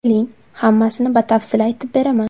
Keling, hammasini batafsil aytib beraman.